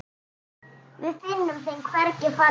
Við finnum þeim hvergi farveg.